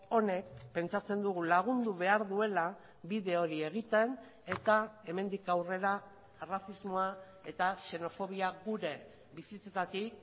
honek pentsatzen dugu lagundu behar duela bide hori egiten eta hemendik aurrera arrazismoa eta xenofobia gure bizitzetatik